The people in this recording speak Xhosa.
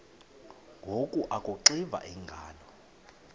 ngoku akuxiva iingalo